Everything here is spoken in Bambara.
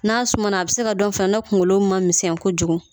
N'a suma na a bi se ka dɔn o fɛ ni kunkolo ma misɛn kojugu